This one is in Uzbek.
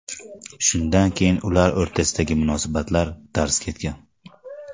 Shundan keyin ular o‘rtasidagi munosabatlar darz ketgan.